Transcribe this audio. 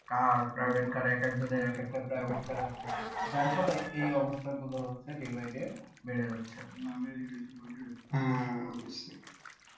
কার, Private Car একেকজনের একেকটা Private Car আছে যার ফলে এই অবস্থাগুলো হচ্ছে day by day বেড়ে যাচ্ছে